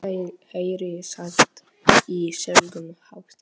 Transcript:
Heyri slátt í seglum hátt.